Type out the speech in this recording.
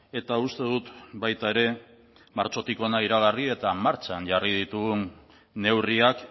eta uste dut baita ere martxotik hona iragarri eta martxan jarri ditugun neurriak